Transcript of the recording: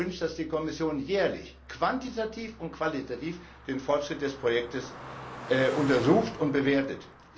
Ich hätte mir gewünscht, dass die Kommission jährlich quantitativ und qualitativ den Fortschritt des Projekts untersucht und bewertet.